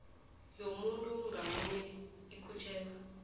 yomuntu ngamunye ikhutjhelwa